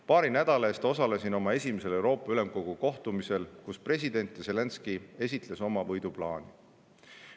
Paari nädala eest osalesin oma esimesel Euroopa Ülemkogu kohtumisel, kus president Zelenskõi esitles oma võiduplaani.